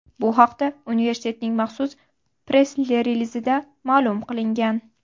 Bu haqda universitetning maxsus press-relizida ma’lum qilingan .